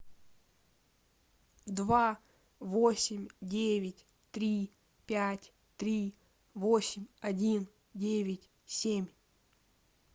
два восемь девять три пять три восемь один девять семь